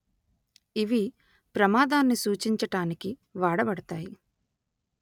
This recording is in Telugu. ఇవి ప్రమాదాన్ని సూచించటానికి వాడబడతాయి